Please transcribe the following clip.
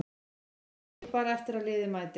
Bíð bara eftir að liðið mæti.